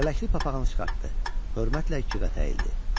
Lələkli papağını çıxartdı, hörmətlə ikiqat əyildi.